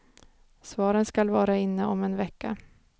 Svaren skall vara inne om en vecka.